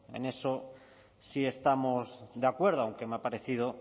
en eso sí estamos de acuerdo aunque me ha parecido